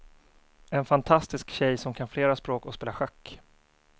En fantastisk tjej som kan flera språk och spelar schack.